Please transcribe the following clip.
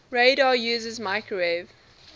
radar uses microwave